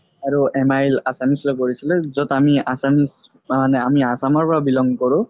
আৰু MIL assamese লয় পঢ়িছিলো য'ত আমি assamese মানে আমি assam ৰ পৰা belong কৰো